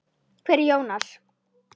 Hver er Jónas?